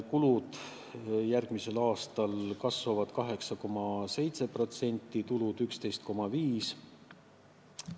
Kulud kasvavad järgmisel aastal 8,7% ja tulud 11,5%.